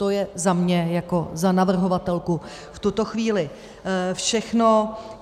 To je za mě jako za navrhovatelku v tuto chvíli všechno.